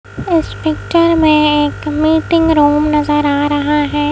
इस पिक्चर में एक मीटिंग रूम नजर आ रहा है।